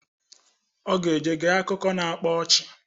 Ọ ga-eje gee akụko na-akpa ọchị